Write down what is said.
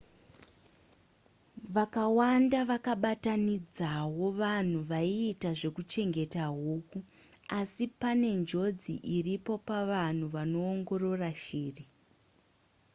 vakawanda vakabatanidzawo vanhu vaiita zvekuchengeta huku asi pane njodzi iripo pavanhu vanoongorora shiri